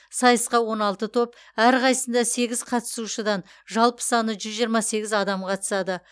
сайысқа он алты топ әрқайсысында сегіз қатысушыдан жалпы саны жүз жиырма сегіз адам қатысады